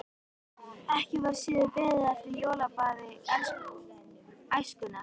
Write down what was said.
Ekki var síður beðið eftir jólablaði Æskunnar.